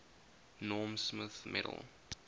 norm smith medal